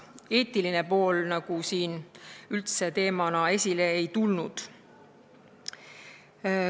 Eetiline pool teemana üldse esile ei tulnud.